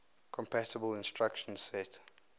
compatible instruction set